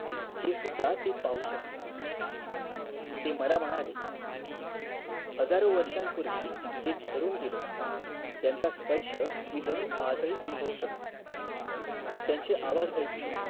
हे सुद्धा ते पाहू शकले ते म ला म्हणाले हजारोवर्षांपूर्वी जे घडून गेलं त्यांचा स्पर्श मी जणू आजही आनभवू शकतो त्यांचे आवाज ऐकू शकतो